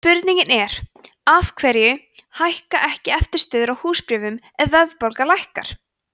spurningin er af hverju lækka ekki eftirstöðvar á húsbréfum ef verðbólga lækkar